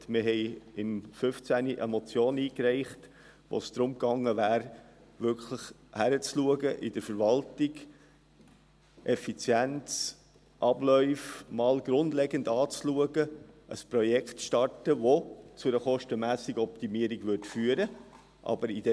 Wir hatten im Jahr 2015 eine Motion eingereicht, wo es darum ging, wirklich bei der Verwaltung hinzuschauen, die Effizienz der Abläufe grundlegend anzuschauen und ein Projekt zu starten, welches zu einer Kostenoptimierung führen würde.